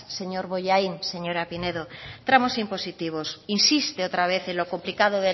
señor bollain señora pineda tramos impositivos insiste otra vez en lo complicado